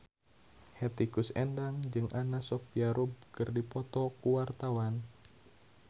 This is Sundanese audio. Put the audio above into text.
Hetty Koes Endang jeung Anna Sophia Robb keur dipoto ku wartawan